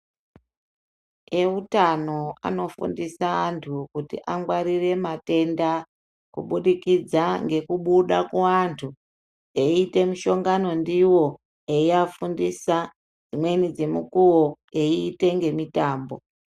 Vehutano vanofundisa antu kuti angwarire matenda kubudikidza ngekubuda kuvantu eita mushongano ivo eivafundisa dziwimweni dzemukuwo eita nemitambo.